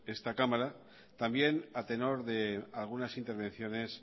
esta cámara también a tenor de algunas intervenciones